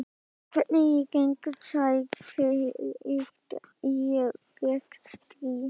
Hvernig er gegnsæi tryggt í rekstri?